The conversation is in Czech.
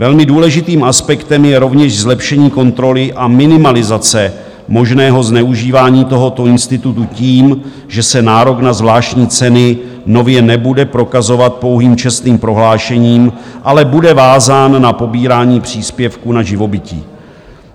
Velmi důležitým aspektem je rovněž zlepšení kontroly a minimalizace možného zneužívání tohoto institutu tím, že se nárok na zvláštní ceny nově nebude prokazovat pouhým čestným prohlášením, ale bude vázán na pobírání příspěvku na živobytí.